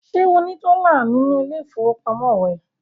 Ṣé ó ní dọ́là nínú ilé-ìfowópamọ́sí rẹ̀?